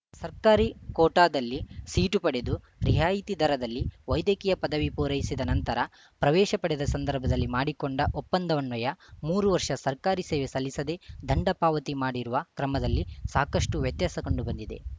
ಸರ್ಕಾರಿ ಕೋಟಾದಲ್ಲಿ ಸೀಟು ಪಡೆದು ರಿಯಾಯಿತಿ ದರದಲ್ಲಿ ವೈದ್ಯಕೀಯ ಪದವಿ ಪೂರೈಸಿದ ನಂತರ ಪ್ರವೇಶ ಪಡೆದ ಸಂದರ್ಭದಲ್ಲಿ ಮಾಡಿಕೊಂಡ ಒಪ್ಪಂದನ್ವಯ ಮೂರು ವರ್ಷ ಸರ್ಕಾರಿ ಸೇವೆ ಸಲ್ಲಿಸದೆ ದಂಡ ಪಾವತಿ ಮಾಡಿರುವ ಕ್ರಮದಲ್ಲಿ ಸಾಕಷ್ಟುವ್ಯತ್ಯಾಸ ಕಂಡು ಬಂದಿವೆ